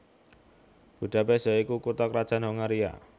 Budapest ya iku kutha krajan Hongaria